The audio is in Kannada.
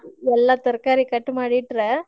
ಎಲ್ಲಾ ತರಕಾರಿ cut ಮಾಡಿ ಇಟ್ರೆ.